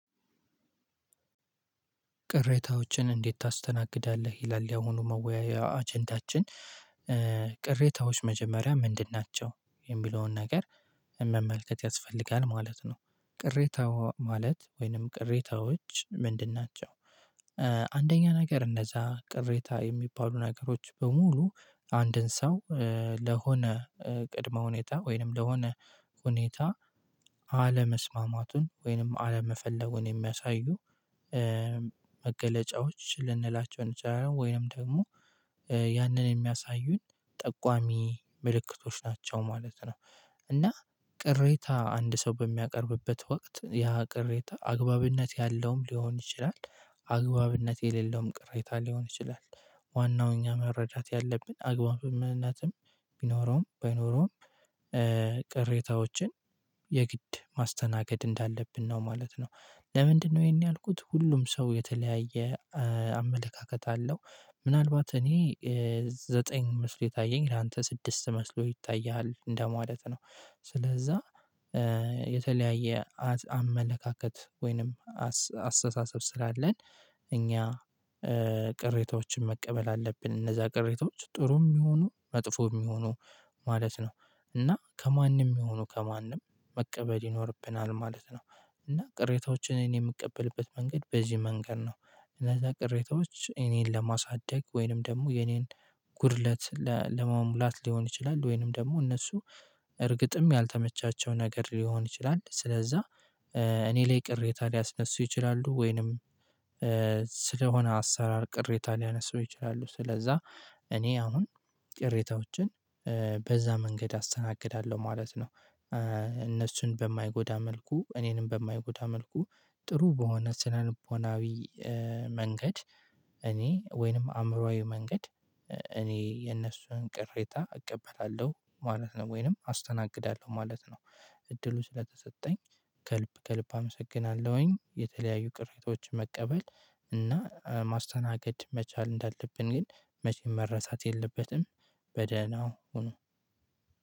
ቅሬታዎችን እንዴት ታስተናግዳለህ? ይላል ያሁኑ መወያያ አጀንታችን ቅሬታዎች መጀመሪያ ምንድን ናቸው የሚለውን ነገር መመልከት ያስፈልጋል ማለት ነው። ቅሬታ ማለት ወይንም ቅሬታዎች ምንድን ናቸው? አንደኛ ነገር እንደዛ ቅሬታ የሚባሉ ነገሮች በሙሉ አንድን ሰው ለሆነ ቅድመ ሁኔታ ወይንም ለሆነ ሁኔታ አለመስማማቱን ወይንም አለመፈለጉን የሚያሳዩ መገለጫዎች ልንላቸው እንችላለን ወይንም ደግሞ ያንን የሚያሳዩን ጠቋሚ ምልክቶች ናቸው ማለት ነው። እና ቅሬታ አንድ ሰው በሚያቀርብበት ወቅት ያ ቅሬታ አግባብነት ያለውም ሊሆን ይችላል አግባብነት የሌለውም ቅሬታ ሊሆን ይችላል። ዋናው እኛ መረዳት ያለብን አግባብም ምንነትም ቢኖረውም ባይኖረውም ቅሬታዎችን የግድ ማስተናገድ እንዳለብን ነው ማለት ነው። ለምንድን ነው ይሄን ያልኩት ሁሉም ሰው የተለያየ አመለካከት አለው ምናልባት እኔ ዘጠኝ መስሎ የታየኝ ላንተ ስድስት መስሎ ይታየሃል እንደማለት ነው። ስለዛ የተለያየ አመለካከት ወይንም አስተሳሰብ ስላለን እኛ ቅሬታዎችን መቀበል አለብን እነዛ ቅሬታዎች ጥሩም ይሁኑ መጥፎም ይሁኑ ማለት ነው። እና ከማንም የሚሆኑ ከማንም መቀበል ይኖርብናል ማለት ነው። እና ቅሬታዎችን እኔ የምቀበልበት መንገድ በዚህ መንገድ ነው። እነዛ ቅሬታዎች እኔን ለማሳደግ ወይንም ደግሞ የኔን ጉድለት ለመሙላት ሊሆን ይችላል ወይንም ደግሞ እነሱ እርግጥም ያልተመቻቸው ነገር ሊሆን ይችላል። ስለዛ እኔ ላይ ቅሬታ ሊያስነሱ ይችላሉ ወይንም ስለሆነ አሰራር ቅሬታ ሊያነሱ ይችላሉ። ስለዛ እኔ አሁን ቅሬታዎችን በዛ መንገድ አስተናግዳለሁ ማለት ነው። እነሱን በማይጎዳ መልኩ እኔንም በማይጎዳ መልኩ ጥሩ በሆነ ስነልቦናዊ መንገድ እኔ ወይንም አእምሮአዊ መንገድ እኔ የነሱን ቅሬታ እቀበላለሁ ማለት ነው ወይንም አስተናግዳለሁ ማለት ነው። እድሉን ስለተሰጠኝ ከልብ ከልብ አመሰግናለሁኝ የተለያዩ ቅሬታዎች መቀበል እና ማስተናገድ መቻል እንዳለብን ግን መቼም መረሳት የለበትም። በደህናው ሁኑ